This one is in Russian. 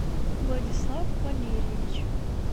владислав валерьевич